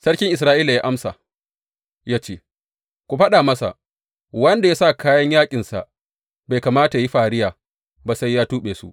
Sarki Isra’ila ya amsa, ya ce, Ku faɗa masa, Wanda ya sa kayan yaƙinsa bai kamata yă yi fariya ba sai ya tuɓe su.’